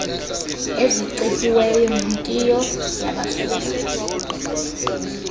ezicetyiweyo nentiyo yabasuka